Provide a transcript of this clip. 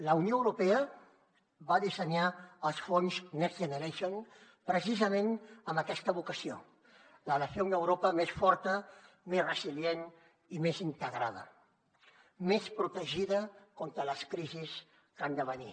la unió europea va dissenyar els fons next generation precisament amb aquesta vocació la de fer una europa més forta més resilient i més integrada més protegida contra les crisis que han de venir